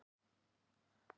Þór er minn guð.